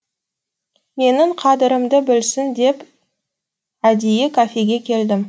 менің қадірімді білсін деп әдейі кафеге келдім